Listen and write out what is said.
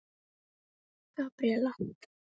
Gabríella